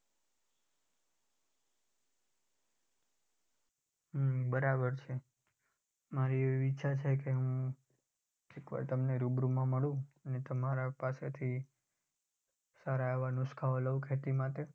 અમ બરાબર છે. મારી એવી ઇચ્છા છે કે હું એક વાર તમને રૂબરૂ માં મળું ને તમારી પાસેથી સારા એવા નુશકાઓ લઉં ખેતી માટે.